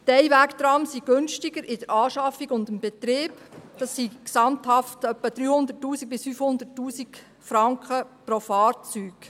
Die Einwegtrams sind günstiger in der Anschaffung und im Betrieb – gesamthaft sind es etwa 300’000 bis 500’000 Franken pro Fahrzeug.